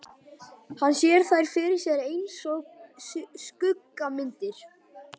Hann sér þær fyrir sér einsog skuggamyndir.